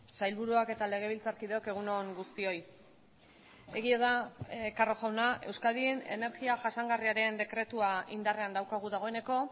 sailburuak eta legebiltzarkideok egun on guztioi egia da carro jauna euskadin energia jasangarriaren dekretua indarrean daukagu dagoeneko